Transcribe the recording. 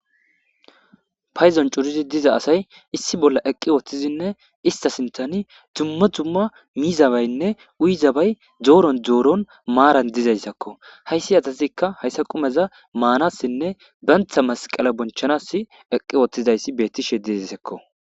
Payzon curizi diza asay issi bolla eqqi woththizinne ista sintani tumma tumma miizabaynne uyzabay dooron dooron maaran dizayssakko hayssi atazikka hayssa qumeza maanassinne bantha masqala bonchanass eqqi wottizayssi bettishe dizaysekko.